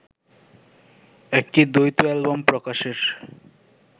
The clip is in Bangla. একটি দ্বৈত অ্যালবাম প্রকাশের